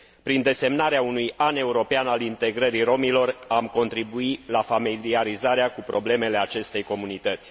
Prin desemnarea unui an european al integrării rromilor, am contribui la familiarizarea cu problemele acestei comunități.